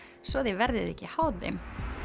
svo þið verðið ekki háð þeim